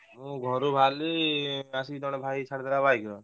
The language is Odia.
ମୁଁ ଘରୁ ବାହାରିଲି ଆସିକି ଜଣେ ଭାଇ ଛାଡ଼ିଦେଲା ବାଇକରେ।